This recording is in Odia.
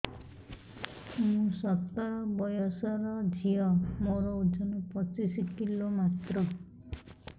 ମୁଁ ସତର ବୟସର ଝିଅ ମୋର ଓଜନ ପଚିଶି କିଲୋ ମାତ୍ର